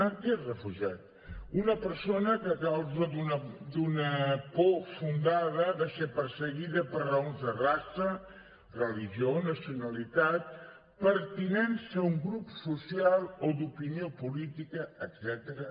què és refugiat una persona que a causa d’una por fundada ha de ser perseguida per raons de raça religió nacionalitat pertinença a un grup social o d’opinió política etcètera